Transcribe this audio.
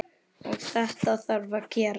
Og þetta þarf að gerast.